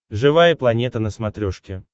живая планета на смотрешке